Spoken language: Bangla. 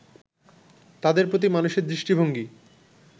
তাদের প্রতি মানুষের দৃষ্টিভঙ্গি